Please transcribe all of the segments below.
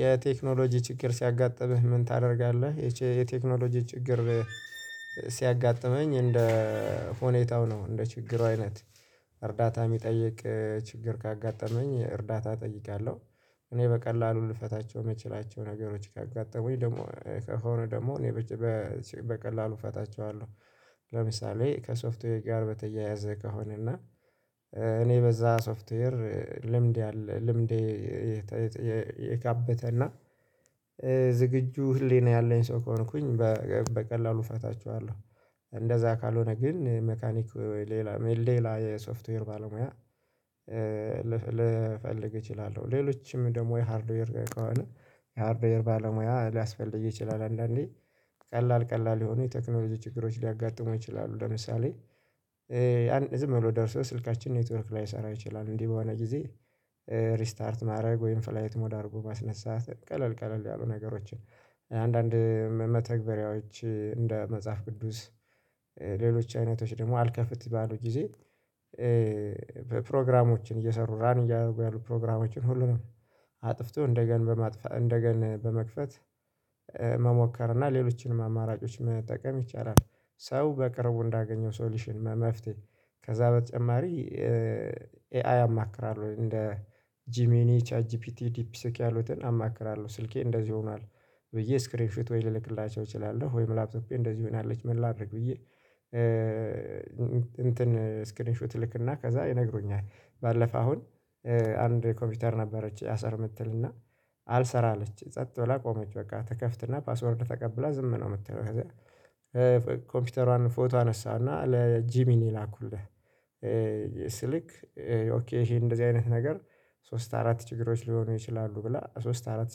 የቴክኖሎጂ ችግር ሲያጋጥምህ ምን ታደርጋለህ? የቼ የቴክኖሎጂ ችግር ሲያጋጥመኝ እንደ ሁኔታው ነው እንደ ችግሩ አይነት እርዳታ የሚጠይቅ ችግር ካጋጠመኝ እርዳታ እጠይቃለሁ። እኔ በቀላሉ ልፈታቸው የምችላቸው ነገሮች ካጋጠሙኝ ደግሞ ከሆነ ደግሞ እኔ በ በቀላሉ እፈታቸዋለሁ። ለምሳሌ ከሶፍትዌር ጋር በተያያዘ ከሆነ እና እኔ በዛ ሶፍትዌር ልምድ ያለ ልምዴ የተ የተ የካበተና ዝግጁ ህሊና ያለኝ ሰው ከሆንኩኝ በቀ በቀላሉ እፈታቸዋለሁ። እንደዛ ካልሆነ ግን መካኒክ ሌላ ሌላ የሶፍትዌር ባለሙያ ልፈልግ እችላለሁ ሌሎችም ደግሞ የሃርድዌር ከሆነ የሃርድዌር ባለሙያ ሊያስፈልግ ይችላል። አንዳንዴ ቀላል ቀላል የሆኑ የቴክኖሎጂ ችግሮች ሊያጋጥሙ ይችላሉ ለምሳሌ አንድ ዝም ብሎ ደርሰው ስልካችን ኔትወርክ ላይሰራ ይችላል። እንዲህ በሆነ ጊዜ ሪስታርት ማድረግ ወይም ፍላይት ሞድ አድርጎ ማስነሳት ቀለል ቀለል ያሉ ነገሮችን አንዳንድ መ መተግበሪያዎች እንደ መጽሐፍ ቅዱስ ሌሎች አይነቶች ደግሞ አልከፍት ባሉ ጊዜ ፕሮግራሞችን እየሰሩ ራን እያደረጉ ያሉ ፕሮግራሞችን ሁሉንም አጥፍቶ እንደገና በማጥፋት እንደገና በመክፈት መሞከር እና ሌሎችንም አማራጮች መጠቀም ይቻላል። ሰው በቅርቡ እንዳገኘው ሶልውሽን መፍትሄ ከዛ በተጨማሪ ኤአይ አማክራለሁ እንደ ጂሚኒ ቻትጂፒቲ ዲፕሲክ ያሉትን አማክራለሁ ስልኬ እንደዚህ ሆኗል ብዬ ስክሪን ሸት ወይ ልልክላቸው እችላለሁ ወይም ላፕቶፔ እንደዚህ ሆናለች ምን ላድርግ ብዬ እንትን ስክሪን ሹት እልክና ከዛ ይነግሩኛል። ባለፈ አሁን አንድ ኮምፒውተር ነበረች አልሰራ የምትል እና አልሰራ አለችኝ ጸጥ ብላ ቆመች በቃ ትከፍትና ፓስወርድ ተቀብላ ዝም ነው የምትለው ከዛ ኮምፒውተሯን ፎቶ አነሳሁና ለጂሚን ላኩለት። ሲልክ ኦኬ ይሄ እንደዚህ አይነት ነገር ሶስት አራት ችግሮች ሊሆኑ ይችላሉ ብለ ለሶስት አራት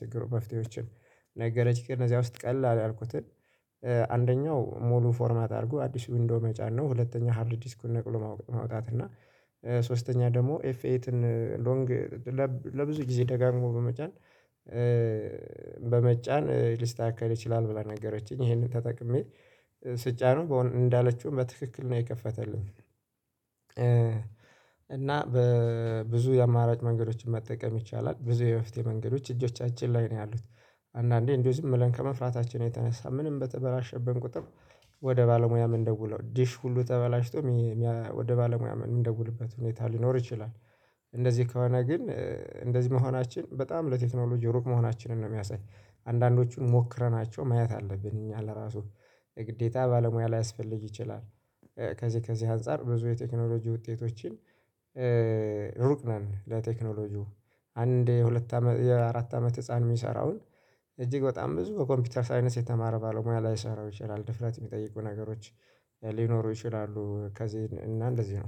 ችግሮች ፍትሄዎችን ነገረችኝ ከእነዚያ ውስጥ ቀላል ያልኩትን አንደኛው ሙሉ ፎርማት አድርጎ አዲስ ዊንዶው መጫን ነው። ሁለተኛው ሃርድ ዲስኩን ነቅሎ ማውጣት እና ሶ ሶስተኛ ደግሞ ኤፍኤትን ሎንግ ለብ ለብዙ ጊዜ ደጋግሞ በመጫን በመጫን ልስተካከል ይችላል ብላ ነገረችኝ። ይሄንን ተጠቅሜ ስጫነው እንዳለችውም በትክክል ነው የከፈተልኝ። እና በብዙ የአማራጭ መንገዶችን መጠቀም ይቻላል ብዙ የመፍትሔ መንገዶች እጆቻችን ላይ ነው ያሉት። አንዳንዴ እንዲሁ ዝም ብለን ከመፍራታችን የተነሳ ምንም በተበላሸብን ቁጥር ወደ ባለሙያ የምንደውለው ዲሽ ሁሉ ተበላሽቶ ወደ ባለሙያ የምንደውልበት ሁኔታ ሊኖር ይችላል። እንደዚህ ከሆነ ግን እንደዚህ መሆናችን በጣም ለቴክኖሎጂ ሩቅ መሆናችንን ነው የሚያሳይ አንዳንዶቹን ሞክረናቸው ማየት አለብን እኛ ለራሱ የግዴታ ባለሙያ ላያስፈልግ ይችላል። ከዚህ ከዚህ አንፃር ብዙ የቴክኖሎጂ ውጤቶችን ሩቅ ነን ለቴክኖሎጂው አንድ የሁለት አመት የአራት አመት ህፃን የሚሰራውን እጅግ በጣም ብዙ በኮምፒውተር ሳይንስ የተማረ ባለሙያ ላይሰራው ይችላል ድፍረት የሚጠይቁ ነገሮች ሊኖሩ ይችላሉ። ከዚህ እና እንደዚህ ነው